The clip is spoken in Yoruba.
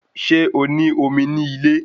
Ṣé o ní omi ní ilé